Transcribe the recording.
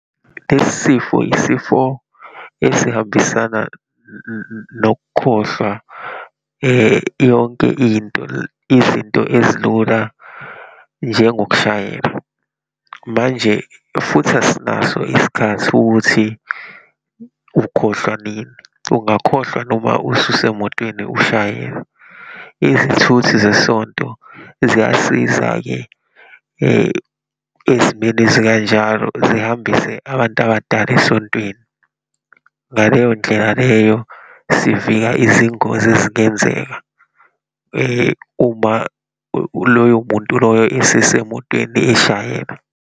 Lesi sifo, isifo esihambisana nokukhohlwa yonke into, izinto ezilula njengokushayela. Manje futhi asinaso isikhathi ukuthi ukhohlwa nini, ungakhohlwa noma ususemotweni ushayelwa. Izithuthi zesonto ziyasiza-ke ezimeni ezikanjalo, zihambise abantu abadala esontweni. Ngaleyondlela leyo sivika izingozi ezingenzeka, uma loyo muntu loyo esesemotweni eshayela.